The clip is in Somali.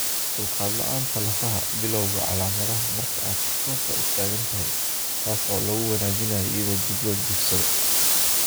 Dulqaad la'aanta lafaha (Bilawga calaamadaha marka aad si toos ah u taagan tahay taas oo lagu wanaajiyo iyadoo dib loo jiifsado).